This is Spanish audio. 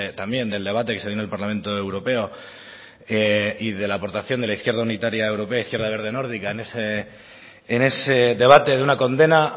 también del debate que se dio en el parlamento europeo y de la aportación de la izquierda unitaria europea izquierda verde nórdica en ese debate de una condena